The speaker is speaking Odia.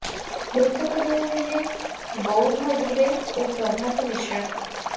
ମୃତକ ଦ୍ୱୟ ହେଲେ ବଉଭା ଦୁବେ ଓ ପ୍ରଭାତ ମିଶ୍ରା